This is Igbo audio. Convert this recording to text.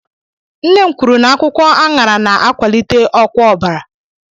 Nne m kwuru na akwukwo anara na-akwalite ọkwa ọbara.